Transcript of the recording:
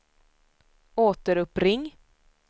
återuppring